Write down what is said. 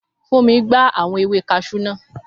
Fúnmi gbá àwọn ewé kaṣú naa